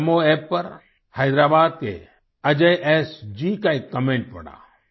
मैंने NaMoApp पर हैदराबाद के अजय एस जी का एक कमेंट पढ़ा